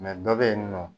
dɔ bɛ yen nɔ